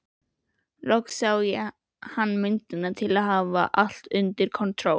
Loks sá hann myndina til að hafa allt undir kontról.